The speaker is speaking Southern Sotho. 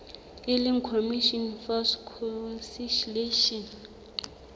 e leng commission for conciliation